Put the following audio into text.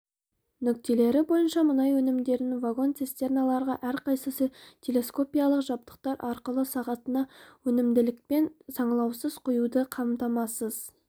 нүктелері бойынша мұнай өнімдерін вагон-цистерналарға әр қайсысы телескопиялық жабдықтар арқылы сағатына өнімділікпен саңылаусыз құюды қамтамасыз